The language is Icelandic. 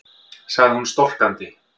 sagði hún storkandi.